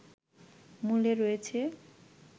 মূলে রয়েছে